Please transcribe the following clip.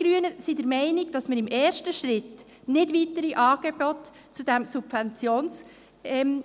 Wir Grüne sind der Meinung, dass im ersten Schritt nicht weitere Angebote zu diesem Subventionssystem